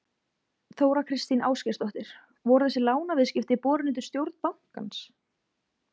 Þóra Kristín Ásgeirsdóttir: Voru þessi lánaviðskipti borin undir stjórn bankans?